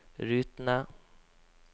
rutene